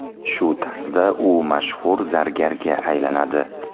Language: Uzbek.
Shu tarzda u mashhur zargarga aylanadi.